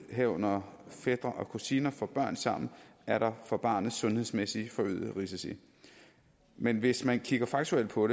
herunder fætre og kusiner får børn sammen er der for barnet forøgede sundhedsmæssige risici men hvis man kigger faktuelt på